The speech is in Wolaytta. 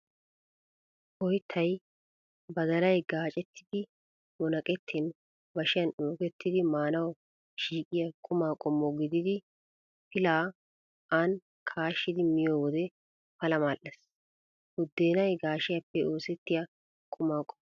Oyttay badalay gaaccettidi munaqettin bashiyaan uukettidi maanawu shiiqiyaa quma qommo gididi pilaa aani kaashidi miyo wode pala mal'ees. Buddeenay gaashiyaappe oosettiyaa quma qommo.